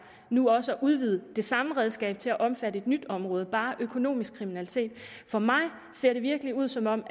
nu også at udvide det samme redskab til at omfatte et nyt område bare økonomisk kriminalitet for mig ser det virkelig ud som om